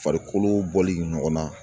Farikolo bɔli ɲɔgɔnna.